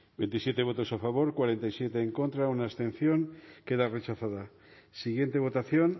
bozketaren emaitza onako izan da hirurogeita hamabost eman